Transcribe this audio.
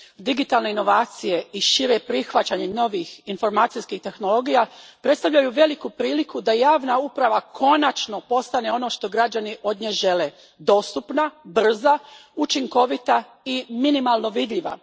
Digitalne inovacije i šire prihvaćanje novih informacijskih tehnologija predstavljaju veliku priliku da javna uprava konačno postane ono što građani od nje žele dostupna, brza, učinkovita i minimalno vidljiva.